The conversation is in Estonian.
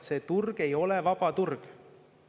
See turg ei ole vaba turg.